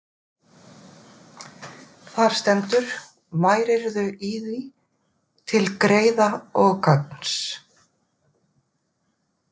Þar stendur: Værirðu í því til greiða og gagns,